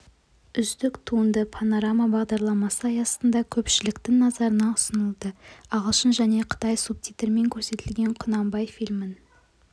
үздік туынды панорама бағдарламасы аясында көпшіліктің назарына ұсынылды ағылшын және қытай субтитрімен көрсетілген құнанбай фильмін